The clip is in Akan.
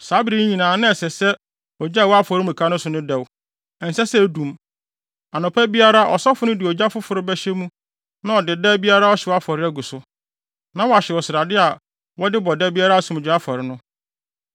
Saa bere yi nyinaa ɛsɛ sɛ ogya a ɛwɔ afɔremuka no so no dɛw. Ɛnsɛ sɛ edum. Anɔpa biara ɔsɔfo no de ogya foforo bɛhyɛ mu na ɔde da biara ɔhyew afɔre agu so, na wahyew srade a wɔde bɔ da biara asomdwoe afɔre no.